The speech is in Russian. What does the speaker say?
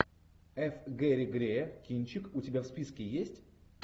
ф гэри грея кинчик у тебя в списке есть